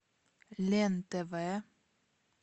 лен тв